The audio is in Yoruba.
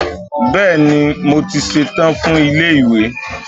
Bẹ́ẹ̀ni, mo ti ṣetán fún ilé ìwé.